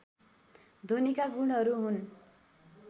ध्वनिका गुणहरू हुन्